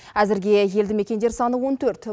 әзірге елді мекендер саны он төрт